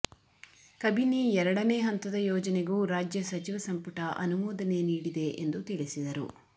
ಕಬಿನಿ ಎರಡನೇ ಹಂತದ ಯೋಜನೆಗೂ ರಾಜ್ಯ ಸಚಿವ ಸಂಪುಟ ಅನುಮೋದನೆ ನೀಡಿದೆ ಎಂದು ತಿಳಿಸಿದರು